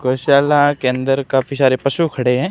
गौशाला के अंदर काफी शारे पशु खड़े हैं।